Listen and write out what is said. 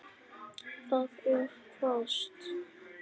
Það er hvasst.